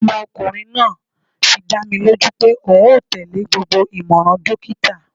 Ọmọkunrin naa fi dá mi loju pe oun o tele gbogbo imọran dokita